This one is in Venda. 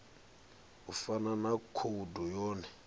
u fana na khoudu yone